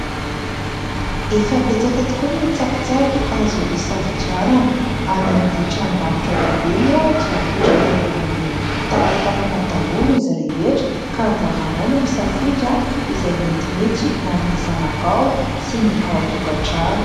Efa betsaka tokoa ny tsakitsaky azo isafidianana, any amin'ny tranombarotra lehibe moa dia apetraka eo ambon'ny talantalana daholo izy rehetra ka anjaranao no misafidy izay metimety ho an'ny zanakao sy ny ao an-tokatrano.